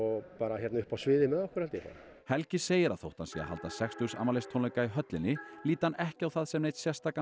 hérna uppi á sviði með okkur helgi segir að þótt hann sé að halda sextugsafmælistónleika í höllinni líti hann ekki á það sem neinn sérstakan